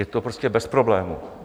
Je to prostě bez problémů.